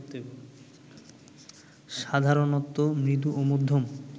সাধারণত মৃদু ও মধ্যম